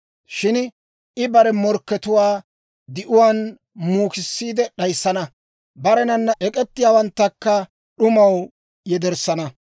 Shin I bare morkkatuwaa di'uwaan muukissiide d'ayissana; barenana ek'ettiyaawanttakka d'umaw yederssana.